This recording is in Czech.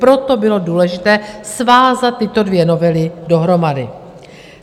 Proto bylo důležité svázat tyto dvě novely dohromady.